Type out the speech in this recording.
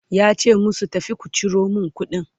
yace musu "tafi ku Ciro min kuɗin!"